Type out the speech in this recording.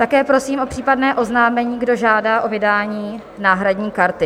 Také prosím o případné oznámení, kdo žádá o vydání náhradní karty.